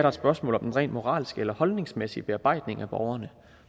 et spørgsmål om den rent moralske eller holdningsmæssige bearbejdning af borgerne